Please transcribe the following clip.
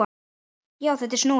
Já, þetta er snúið!